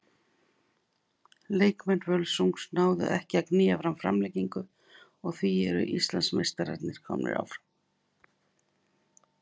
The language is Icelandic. Leikmenn Völsungs náðu ekki að að knýja fram framlengingu og því eru Íslandsmeistararnir komnir áfram.